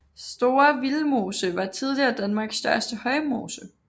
Store Vildmose var tidligere Danmarks største højmose